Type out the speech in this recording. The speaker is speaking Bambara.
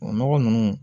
O nɔgɔ ninnu